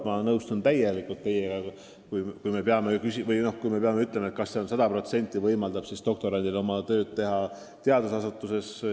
Ma olen teiega täiesti nõus, et toetus peab võimaldama doktorandil töötada ainult teadusasutuses.